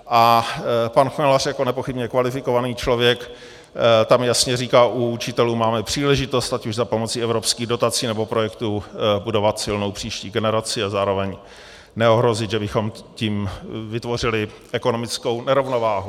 A pan Chmelař jako nepochybně kvalifikovaný člověk tam jasně říká, u učitelů máme příležitost, ať už za pomoci evropských dotací, nebo projektů, budovat silnou příští generaci a zároveň neohrozit, že bychom tím vytvořili ekonomickou nerovnováhu.